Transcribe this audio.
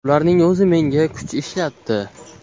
Ularning o‘zi menga kuch ishlatdi.